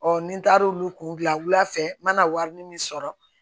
ni n taara olu kun gilan wula fɛ n bɛna warini min sɔrɔ